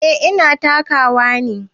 Eh ina takawa ne.